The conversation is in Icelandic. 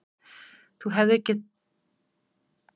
Þú hefðir gert það eina sem þér gat dottið í hug.